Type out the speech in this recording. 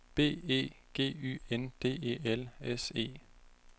B E G Y N D E L S E